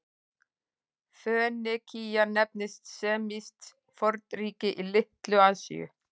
Fönikía nefndist semískt fornríki í Litlu-Asíu.